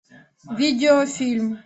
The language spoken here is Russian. видеофильм